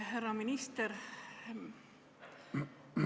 Härra minister, aitäh teile vastamast!